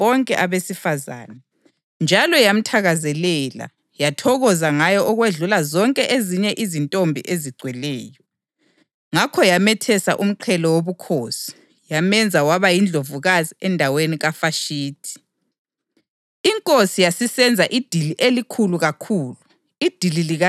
Inkosi yakhangwa ngu-Esta kakhulukazi okwedlula abanye bonke abesifazane, njalo yamthakazelela yathokoza ngaye okwedlula zonke ezinye izintombi ezigcweleyo. Ngakho yamethesa umqhele wobukhosi yamenza waba yindlovukazi endaweni kaVashithi.